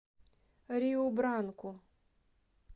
риу бранку